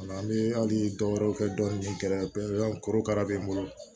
An bɛ hali dɔwɛrɛw kɛ dɔɔnin pewu korokara bɛ n bolo